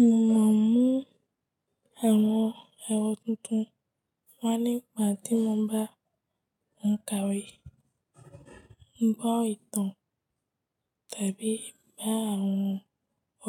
Mo ma ń mu àwọn orò tuntun wà nígbà tí mo bá ń ka ìwé, gbọ́ ìtàn tàbí bá àwọn